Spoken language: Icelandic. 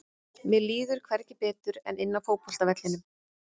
Mér líður hvergi betur en inni á fótboltavellinum.